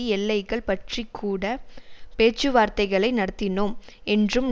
எல்லைகள் பற்றி கூட பேச்சுவார்த்தைகளை நடத்தினோம் என்றும்